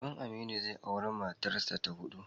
Uban Aminu zai auri matarsa ta huɗu.